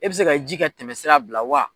E bɛ se ka ji ka tɛmɛ sira bila wa.